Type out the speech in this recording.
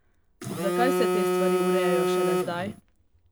Zakaj se te stvari urejajo šele zdaj?